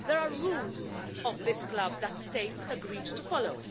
There are rules of this club that states agreed to follow.